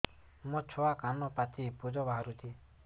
ମୋ ଛୁଆ କାନ ପାଚି ପୂଜ ବାହାରୁଚି